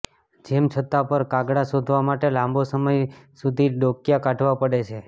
જેમાં છત્ત પર કાગડા શોધવા માટે લાંબો સમય સુધી ડોકિયાં કાઢવા પડે છે